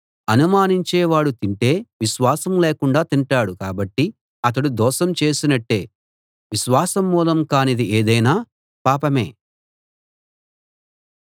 అనుమానించే వాడు తింటే విశ్వాసం లేకుండా తింటాడు కాబట్టి అతడు దోషం చేసినట్టే విశ్వాసమూలం కానిది ఏదైనా పాపమే